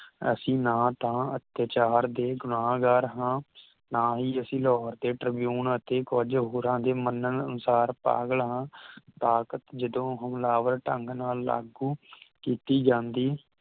ਅਸੀ ਨਾ ਤਾਂ ਅਤਿਆਚਾਰ ਦੇ ਗੁਨਾਹਗਾਰ ਹਾਂ ਨਾ ਹੀ ਅਸੀ ਲਾਹੌਰ ਤੇ ਟ੍ਰਿਬਿਊਨ ਅਤੇ ਕੁਝ ਹੋਰਾਂ ਦੇ ਮੰਨਣ ਅਨੁਸਾਰ ਪਾਗਲ ਹਾਂ ਤਾਕਤ ਜਦੋਂ ਹਮਲਾਵਰ ਢੰਗ ਨਾਲ ਲਾਗੂ ਕੀਤੀ ਜਾਂਦੀ